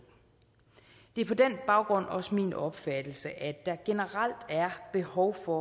det er på den baggrund også min opfattelse at der generelt er behov for